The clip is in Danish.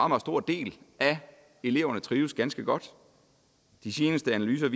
meget stor del af eleverne trives ganske godt de seneste analyser